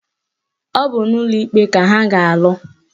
Ọ bụ n'ụlọ ikpe ka ha ga-alụ